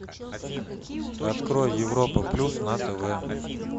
открой европа плюс на тв